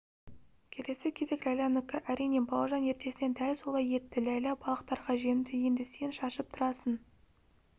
келесі кезек ләйләнікі әрине бауыржан ертесіне дәл солай етті ләйлә балықтарға жемді енді сен шашып тұрасың